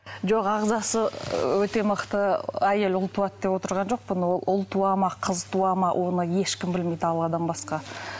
жоқ ағзасы ы өте мықты әйел ұл туады деп отырған жоқпын ол ұл туады ма ол қыз туады ма оны ешкім білмейді алладан басқа